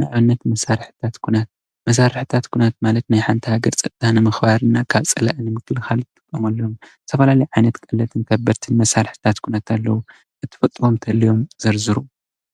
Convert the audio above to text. ንኣብነት መሳርሕታት ኲናት፡፡ መሳርሕታት ኲናት ማለት ናይ ሓንቲ ሃገር ፀጥታ ንምኽባር እና ካብ ፀላኢ ንምክልኻል ንጥቀመሉ፡፡ ዝተፈላለዩ ዓይነት ቀለልትን ከበድትን መሳርሕታት ኲናት ኣለዉ፡፡ ትፈልጥዎም እንተልዮም ዘርዝሩ፡፡